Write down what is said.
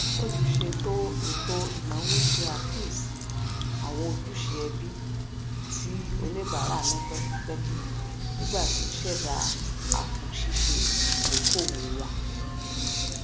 olùṣètò ètò ináwo ṣe àkíyèsí àwọn ojúṣe ẹbí tí oníbàárà ní pẹkipẹki nígbà tí ó ṣẹdá apòṣiṣe idokoowo wọn